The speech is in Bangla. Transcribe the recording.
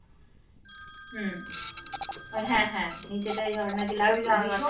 হম ওই হ্যাঁ হ্যাঁ নিচে তাই ঝর্ণা ছিল